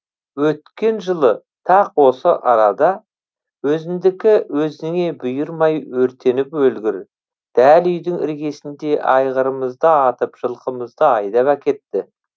өткен жылы тақ осы арада өзіңдікі өзіңе бұйырмай өртеніп өлгір дәл үйдің іргесінде айғырымызды атып жылқымызды айдап әкітті